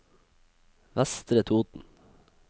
Vestre Toten